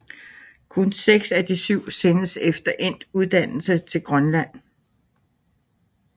Kun seks af de syv sendes efter endt uddannelse til Grønland